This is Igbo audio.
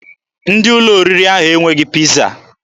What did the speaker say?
Ndị ụlọ oriri ahụ enweghị Piiza.